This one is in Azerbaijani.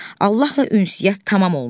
Allahla ünsiyyət tamam olmuşdu.